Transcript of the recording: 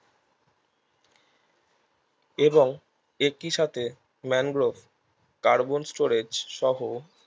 এবং এটির সাথে ম্যানগ্রোভ কার্বন storage সহ